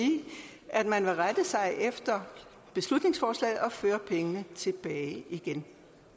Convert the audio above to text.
at man vil rette sig efter beslutningsforslaget og føre pengene tilbage